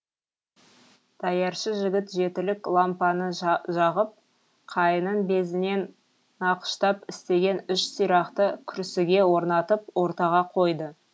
даяршы жігіт жетілік лампаны жағып қайыңның безінен нақыштап істеген үш сирақты күрсіге орнатып ортаға қойды